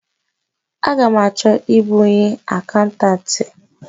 A ga m achọ ịbụ onye akaụntanti?